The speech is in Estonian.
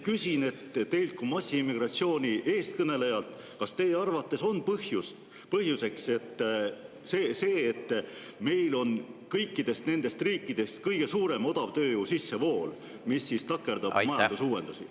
Küsin teilt kui massiimmigratsiooni eestkõnelejalt: kas teie arvates on põhjuseks see, et meil on kõikide nende riikide seas kõige suurem odavtööjõu sissevool, mis takerdab majandusuuendusi?